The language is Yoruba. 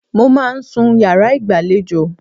Mo máa ń sùn sí yàrá ìgbàlejò.